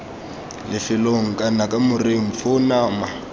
lefelong kana kamoreng foo nama